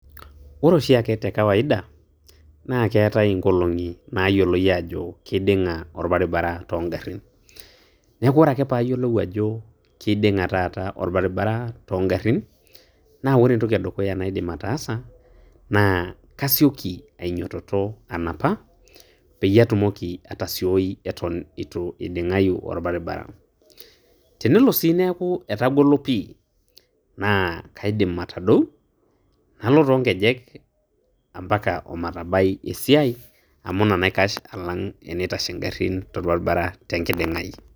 Ore oshiake te kawaida, naa keetai inkolong'i naayioloi aajo keiding'a olbaribara toongarrin. Neeku ore ake paayiolou ajo keiding'a taata olbaribara toongarrin, naa ore entoki edukuya naidim ataasa naa kasioki ainyototo anapa peyie atumoki atasioi eton eitu eiding'ayu olbaribara. Tenelo sii neeku etagolo pii, naa kaidim atadou nalo toonkejek ompaka omatabai esiai amu ina naikash alang' eneitashe ngarrin tolbaribara tenkiding'ai.